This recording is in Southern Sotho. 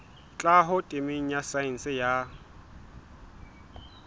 tlhaho temeng ya saense ya